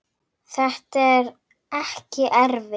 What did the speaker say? Þetta er ekki erfitt.